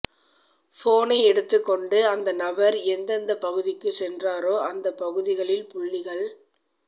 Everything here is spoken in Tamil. போனை எடுத்துக் கொண்டு அந்த நபர் எந்தெந்த பகுதிக்கு சென்றாரோ அந்த பகுதிகளில் புள்ளிகள்